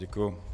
Děkuji.